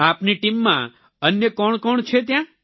આપની ટીમમાં અન્ય કોણ કોણ છે ત્યાં